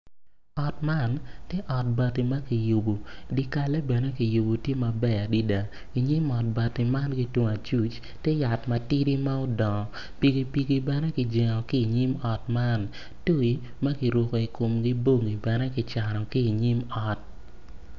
Ot man tye ot bati ma kiyubo dye kalle bene kiyubo tye maber adada i nyim ot bati man ki tung acuc tye yat matidi ma odongo pikipiki bene kijengo i nyim ot man.